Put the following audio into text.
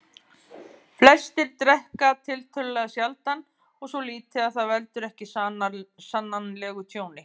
Flestir drekka tiltölulega sjaldan og svo lítið að það veldur ekki sannanlegu tjóni.